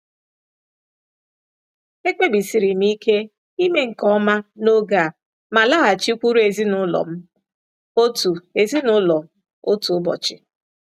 Ekpebisiri m ike ime nke ọma n'oge a ma laghachikwuru ezinụlọ m otu ezinụlọ m otu ụbọchị.